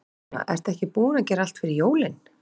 Sunna: Ertu ekki búin að gera allt fyrir jólin?